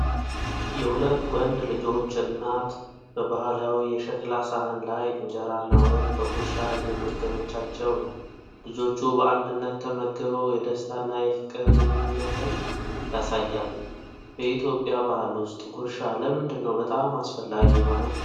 የሁለት ወንድ ልጆች እናት በባህላዊ የሸክላ ሳህን ላይ እንጀራና ወጥ በጉርሻ እየመገበቻቸው ነው። ልጆቹ በአንድነት ተመግበው የደስታና የፍቅር ግንኙነትን ያሳያሉ። በኢትዮጵያ ባህል ውስጥ ጉርሻ ለምንድን ነው በጣም አስፈላጊ የሆነው?